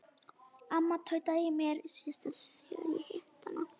Amma tautaði í mér síðast þegar ég hitti hana.